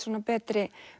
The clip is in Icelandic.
betri